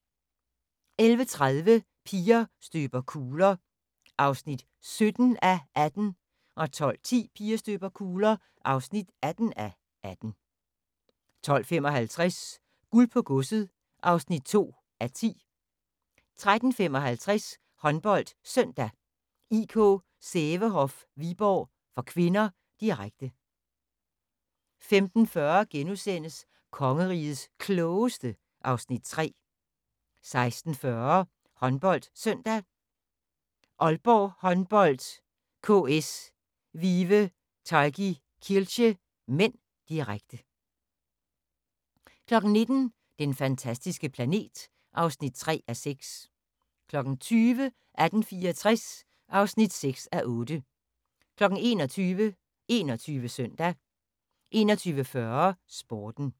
11:30: Piger støber kugler (17:18) 12:10: Piger støber kugler (18:18) 12:55: Guld på godset (2:10) 13:55: HåndboldSøndag: IK Sävehof-Viborg (k), direkte 15:40: Kongerigets Klogeste (Afs. 3)* 16:40: HåndboldSøndag: Aalborg Håndbold-KS Vive Targi Kielce (m), direkte 19:00: Den fantastiske planet (3:6) 20:00: 1864 (6:8) 21:00: 21 Søndag 21:40: Sporten